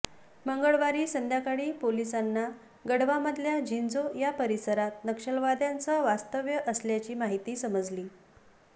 मंगळवारी संध्याकाळी पोलिसांना गढवामधल्या छिंजो या परिसरात नक्षलवाद्यांचं वास्तव्य असल्याची माहिती समजली